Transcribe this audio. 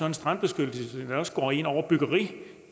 en strandbeskyttelse der også går ind over byggeri